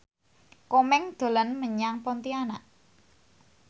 Komeng dolan menyang Pontianak